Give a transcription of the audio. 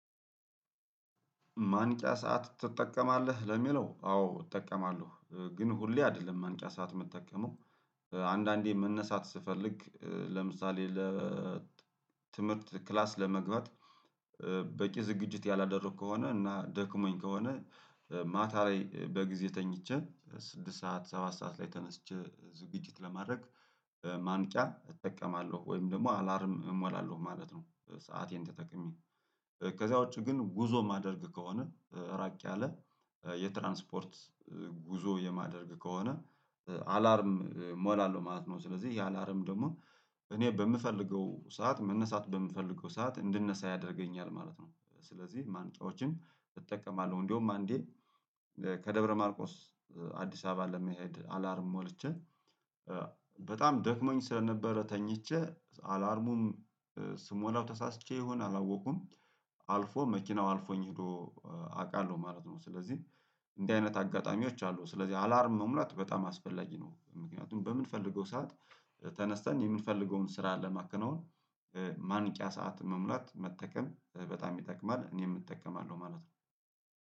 ማንቂያ ሰዓት ትጠቀማለህ? ለሚለው አዎ እጠቀማለሁ ግን ሁሌ አይደለም ማንቂያ ሰዓት የምጠቀመው አንዳንዴ መነሳት ስፈልግ ለምሳሌ ለ ትምህርት ክላስ ለመግባት በቂ ዝግጅት ያላደረኩ ከሆነ እና ደክሞኝ ከሆነ ማታ ላይ በጊዜ ተኝቼ ስድስት ሰዓት ሰባት ሰዓት ላይ ተነስቼ ዝግጅት ለማድረግ ማንቂያ እጠቀማለሁ ወይም ደግሞ አላርም እሞላለሁ ማለት ነው። ሰአቴን ተጠቅሜ ከዛ ውጪ ግን ጉዞ ማደርግ ከሆነ ራቅ ያለ የትራንስፖርት ጉዞ የማደርግ ከሆነ አላርም እሞላለሁ ማለት ነው። ስለዚህ የአላርም ደግሞ እኔ በምፈልገው ሰዓት መነሳት በምፈልገው ሰዓት እንድነሳ ያደርገኛል ማለት ነው። ስለዚህ ማንቂያዎችን እጠቀማለሁ እንደውም አንዴ ከደብረ ማርቆስ አዲስ አበባ ለመሄድ አላርም ሞልቼ በጣም ደክሞኝ ስለነበረ ተኝቼ አላርሙም ስሞላው ተሳስቼ ይሁን አላወቁም አልፎ መኪናው አልፎኝ ሄዶ አውቃለሁ ማለት ነው። ስለዚህ እንዲህ አይነት አጋጣሚዎች አሉ ስለዚህ አላርም መሙላት በጣም አስፈላጊ ነው። ምክንያቱም በምንፈልገው ሰዓት ተነስተን የምንፈልገውን ስራ ለማከናወን ማንቂያ ሰዓት መሙላት መጠቀም በጣም ይጠቅማል እኔም እጠቀማለሁ ማለት ነው።